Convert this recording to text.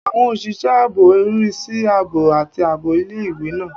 Àwọn òṣìṣẹ́ ààbò ń rí sí ààbò àti ààbò ilé-ìwé náà